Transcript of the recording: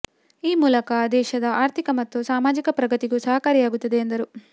ಈ ಮೂಲಕ ದೇಶದ ಆರ್ಥಿಕ ಮತ್ತು ಸಾಮಾಜಿಕ ಪ್ರಗತಿಗೂ ಸಹಕಾರಿಯಾಗುತ್ತದೆ ಎಂದರು